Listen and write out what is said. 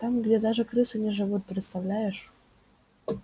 там где даже крысы не живут представляешь